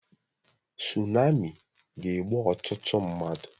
Sunami ga-egbu ọtụtụ mmadụ